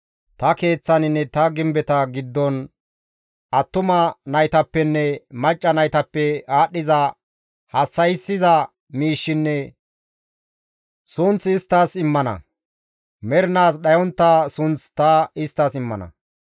ta Keeththaninne ta gimbeta giddon attuma naytappenne macca naytappe aadhdhiza hassa7issiza miishshinne sunth isttas immana; mernaas dhayontta sunth ta isttas immana.